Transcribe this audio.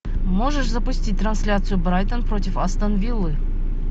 можешь запустить трансляцию брайтон против астон виллы